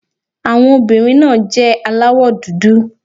Àwọn obìnrin náà jẹ́ aláwọ̀ dúdú.